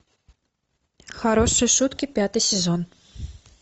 хорошие шутки пятый сезон